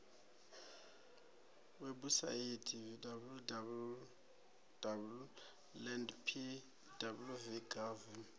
webusaithi www land pwv gov